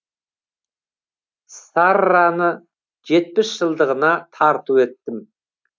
сарраны жетпіс жылдығына тарту еттім